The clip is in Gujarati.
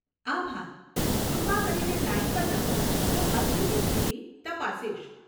આભાર, કૃપા કરીને લાઇન પર રહો, હું અરજીની સ્થિતિ તપાસીશ.